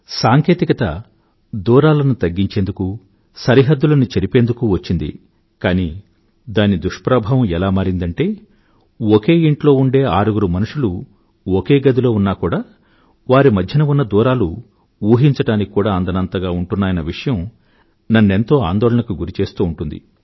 సాంకేతికత దూరాలను తగ్గించేందుకు సరిహద్దులను చెరిపేందుకు వచ్చింది కానీ దాని దుష్ప్రభావం ఎలా మారిందంటే ఒకే ఇంట్లో ఉండే ఆరుగురు మనుషులు ఒకే గదిలో ఉన్నా కూడా వారి మధ్య ఉన్న దూరాలు ఊహించడానికి కూడా అందనంతగా ఉంటున్నాయన్న విషయం నన్నెంతో ఆందోళనకు గురిచేస్తూ ఉంటుంది